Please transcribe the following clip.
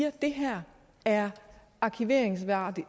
at det her er arkiveringsværdigt